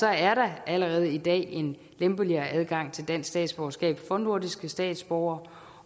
er der allerede i dag en lempeligere adgang til dansk statsborgerskab for nordiske statsborgere